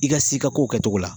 I ka s'i ka ko kɛ cogo la